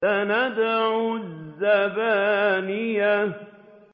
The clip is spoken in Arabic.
سَنَدْعُ الزَّبَانِيَةَ